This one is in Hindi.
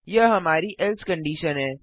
यह हमारी एल्से कंडिशन है